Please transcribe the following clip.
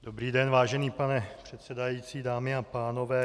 Dobrý den, vážený pane předsedající, dámy a pánové.